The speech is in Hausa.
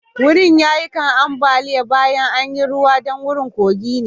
Wurin ya yi kan ambaliya baya an yi ruwa dan wurin kogi ne.